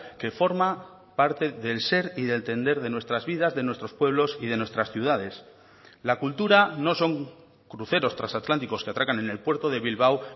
que forma parte del ser y de entender de nuestras vidas de nuestros pueblos y de nuestras ciudades la cultura no son cruceros transatlánticos que atracan en el puerto de bilbao